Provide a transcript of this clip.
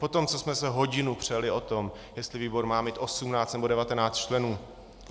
Po tom, co jsme se hodinu přeli o tom, jestli výbor má mít 18, nebo 19 členů.